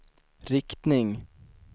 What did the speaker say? riktning